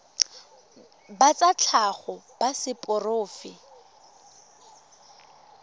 ba tsa tlhago ba seporofe